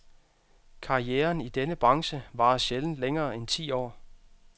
Karrieren i denne branche varer sjældent længere end ti år.